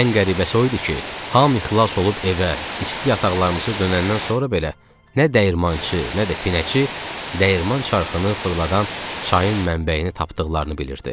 Ən qəribəsi o idi ki, hamı xilas olub evə, isti yataqlarımıza dönəndən sonra belə nə dəyirmançı, nə də pinəçi dəyirman çarxını fırladan çayın mənbəyini tapdıqlarını bilirdi.